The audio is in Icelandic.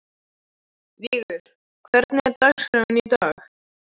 Vigur, hvernig er dagskráin í dag?